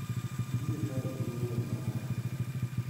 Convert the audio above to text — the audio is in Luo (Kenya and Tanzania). Ibiro tayo gi ng�eyo mara